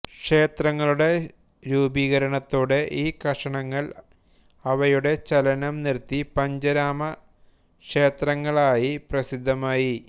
ക്ഷേത്രങ്ങളുടെ രൂപീകരണത്തോടെ ഈ കഷണങ്ങൾ അവയുടെ ചലനം നിർത്തി പഞ്ചരാമക്ഷേത്രങ്ങളായി പ്രസിദ്ധമായി